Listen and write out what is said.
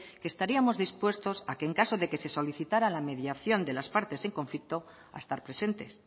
que estaríamos dispuestos a que en caso de que solicitara la mediación de las partes en conflicto a estar presentes